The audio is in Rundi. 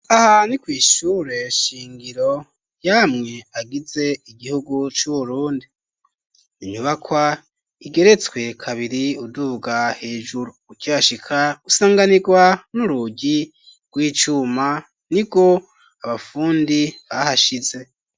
Aha ni kw'ishure shingiro yamwe agize igihugu c'urundi inyubakwa igeretswe kabiri uduuga hejuru ukihashika usanganirwa n'urugi rw'icuma ni go abafundi bahashize.